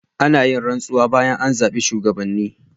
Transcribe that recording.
Ana yin rantsuwa bayan an zabi shugabanni.